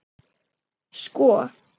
Sko